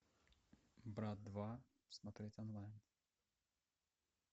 брат два смотреть онлайн